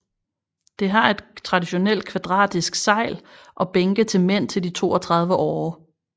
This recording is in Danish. Det har et traditionelt kvadratisk sejl og bænke til mænd til de 32 årer